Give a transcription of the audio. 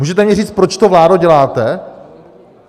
Můžete mi říct, proč to, vládo, děláte?